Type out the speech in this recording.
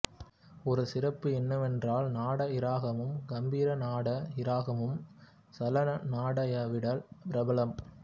ஒரு சிறப்பு என்னவென்றால் நாட இராகமும் கம்பீரநாட இராகமும் சலநாடயைவிட பிரபலம்